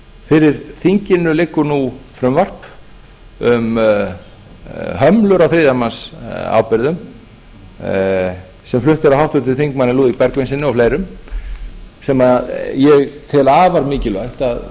fyrir þinginu liggur nú frumvarp um hömlur á þriðjamannsábyrgðum sem flutt er af háttvirtum þingmanni lúðvíki bergvinssyni og fleirum sem ég tel afar mikilvægt að